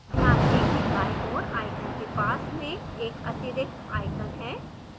ध्यान दें कि दाईं ओर icon के पास में एक अतिरिक्त icon है